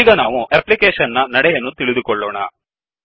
ಈಗ ನಾವು ಎಪ್ಲಿಕೇಶನ್ ನ ನಡೆಯನ್ನು ತಿಳಿದುಕೊಳ್ಳೋಣ